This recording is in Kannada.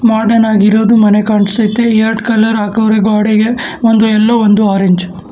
ಮಾಡ್ರನ್ನಗಿರೋದು ಮನೆ ಕಾಣ್ಸೖತೆ ಎರಡು ಕಲರ್ ಹಾಕೌರೆ ಗೋಡೆಗೆ ಒಂದು ಎಲ್ಲೋ ಒಂದ್ ಆರೇಂಜ್ .